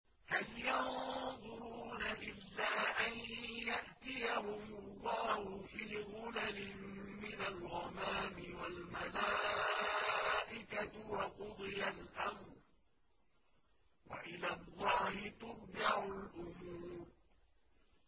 هَلْ يَنظُرُونَ إِلَّا أَن يَأْتِيَهُمُ اللَّهُ فِي ظُلَلٍ مِّنَ الْغَمَامِ وَالْمَلَائِكَةُ وَقُضِيَ الْأَمْرُ ۚ وَإِلَى اللَّهِ تُرْجَعُ الْأُمُورُ